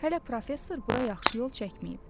Hələ professor bura yaxşı yol çəkməyib.